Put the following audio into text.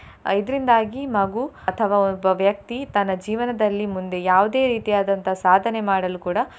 ಅಹ್ ಇದ್ರಿಂದಾಗಿ ಮಗು ಅಥವಾ ಒಬ್ಬ ವ್ಯಕ್ತಿ ತನ್ನ ಜೀವನದಲ್ಲಿ ಮುಂದೆ ಯಾವುದೇ ರೀತಿಯಾದಂತಂಹ ಸಾಧನೆ ಮಾಡಲು ಕೂಡ.